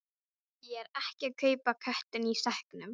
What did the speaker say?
Ég er ekki að kaupa köttinn í sekknum.